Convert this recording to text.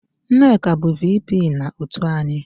Nneka bụ VP na otu anyị